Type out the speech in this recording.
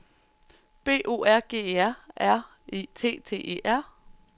B O R G E R R E T T E R